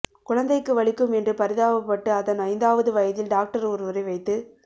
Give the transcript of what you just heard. குழந்தைக்கு வலிக்கும் என்று பரிதாபப்பட்டு அதன் ஐந்தாவது வயதில் டாக்டர் ஒருவரை வைத்து